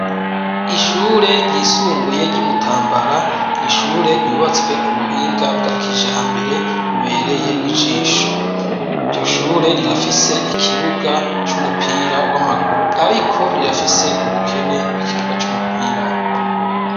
Ishure ryisumbuye ry'Imutambara, n’ishure ryubatswe ku buhinga bwa kijambere bubereye ijisho. Iryo shure rirafise ikibuga c'umupira w'amaguru, ariko rirafise ubukene bw'ikibuga c'umupira w'amaboko.